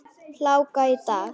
Hláka í dag.